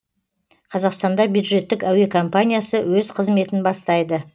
қазақстанда бюджеттік әуе компаниясы өз қызметін бастайды